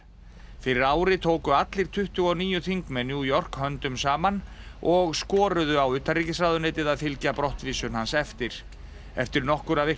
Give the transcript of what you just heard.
fyrir ári tóku allir tuttugu og níu þingmenn New York höndum saman og skoruðu á utanríkisráðuneytið að fylgja brottvísun hans eftir eftir nokkurra vikna